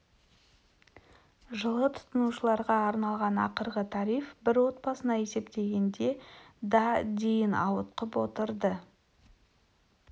жылы тұтынушыларға арналған ақырғы тариф бір отбасына есептегенде да дейін ауытқып отырды